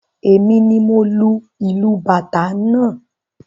Èmi ni mo lu ìlù Bàtá náà.